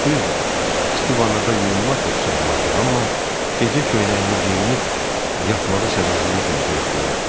Düzdür, isti vanada yuyunmaq da pis olmazdı, amma gecə köynəyini geyinib yatmağı səbirsizliklə gözləyirəm.